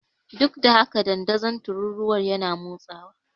Duk da haka, dandazon tururuwar yana motsawa.